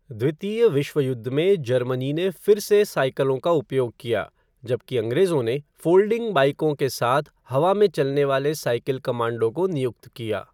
द्वितीय विश्व युद्ध में जर्मनी ने फिर से साइकिलों का उपयोग किया, जबकि अंग्रेजों ने फ़ोल्डिंग बाइकों के साथ हवा में चलने वाले साइकिल कमांडो को नियुक्त किया।